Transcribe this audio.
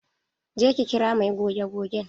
Je ki kira mai goge gogen!